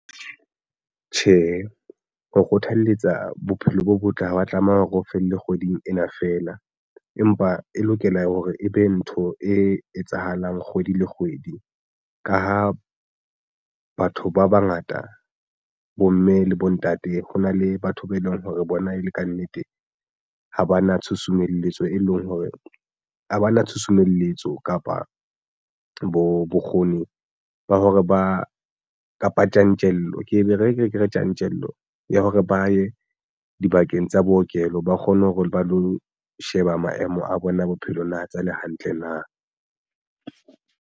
Tjhe, ho kgothaletsa bophelo bo botle ha wa tlameha hore o felle kgweding ena fela, empa e lokela hore e be ntho e etsahalang kgwedi le kgwedi. Ka ha batho ba bangata bomme le bontate hona le batho ba eleng hore bona e le kannete ha ba na tshusumelletso e leng hore ha ba na tshusumelletso kapa bo bokgoni ba hore ba kapa tjantjello ke ere ke re tjantjello ya hore ba ye dibakeng tsa bookelo ba kgone hore ba lo sheba maemo a bona bophelo na tsa le hantle na.